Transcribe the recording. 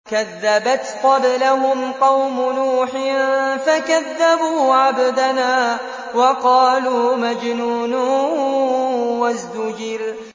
۞ كَذَّبَتْ قَبْلَهُمْ قَوْمُ نُوحٍ فَكَذَّبُوا عَبْدَنَا وَقَالُوا مَجْنُونٌ وَازْدُجِرَ